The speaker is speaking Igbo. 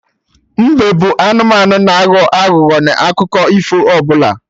Mbe bụ anụmanụ na-aghọ aghụghọ n'akụkọ ifo ụfọdụ